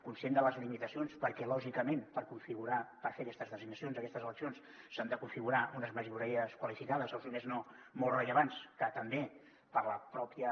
conscients de les limitacions perquè lògicament per fer aquestes designacions aquestes eleccions s’han de configurar unes majories qualificades o si més no molt rellevants que també per la pròpia